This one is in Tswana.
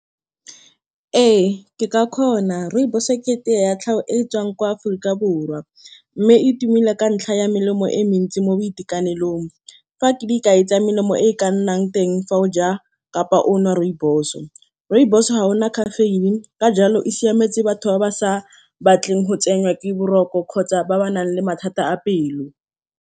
Ee ke ka kgona. Rooibos-o ke tea ya tlhago e e tswang kwa Aforika Borwa, mme e tumile ka ntlha ya melemo e mentsi mo boitekanelong. Fa ke dikai tsa melemo e ka nnang teng, fa o ja kapa o nwa rooibos-o. Rooibos-o ga ena caffeine, ka jalo e siametse batho ba ba sa batleng go tsenwa ke boroko kgotsa ba ba nang le mathata a pelo.